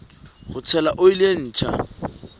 ho tshela oli e ntjha